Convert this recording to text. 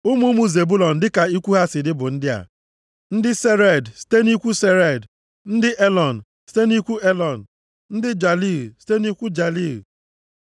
Ụmụ ụmụ Zebụlọn dịka ikwu ha si dị bụ ndị a: ndị Sered, site nʼikwu Sered, ndị Elọn, site nʼikwu Elọn, ndị Jaliil, site nʼikwu Jaliil.